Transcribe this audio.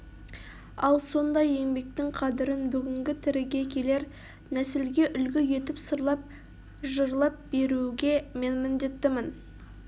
ал сондай еңбектің қадірін бүгінгі тіріге келер нәсілге үлгі етіп сырлап жырлап беруге мен міндеттімін